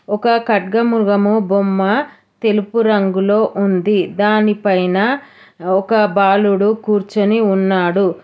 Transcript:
ఒక ఖడ్గమృగము బొమ్మ తెలుపు రంగులో ఉంది దాని పైన ఒక బాలుడు కూర్చొని ఉన్నాడు.